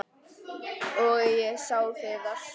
Og ég sá Viðar.